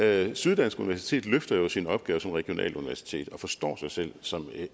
det syddansk universitet løfter jo sin opgave som regionalt universitet forstår sig selv som